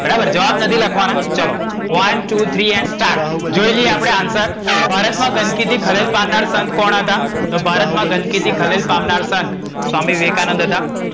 બરાબર, જવાબ નથી લખવાના. ચલો, one two three and start જોઈ લિએ આપણે answer ભારતમાં ગંદકીથી ખલેલ પામનર સંત કોણ હતા? તો ભારતમાં ગંદકીથી ખલેલ પામનર સંત સ્વામિ વિવેકાનંદ હતા.